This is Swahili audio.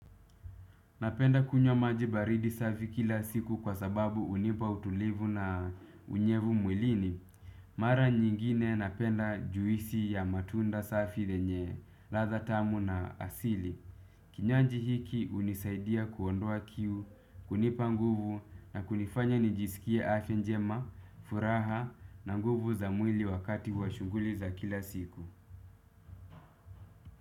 Napenda kunywa maji baridi safi kila siku kwa sababu hunipa utulivu na unyevu mwilini. Mara nyingine napenda juisi ya matunda safi yenye ladha tamu na asili kinywaji hiki hunisaidia kuondoa kiu hunipa nguvu na kunifanya nijiskie afya njema furaha na nguvu za mwili wakati wa shughuli za kila siku.